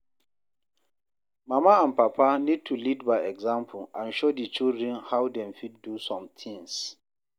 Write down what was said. Mama and papa need to lead by example and show di children how dem fit do some things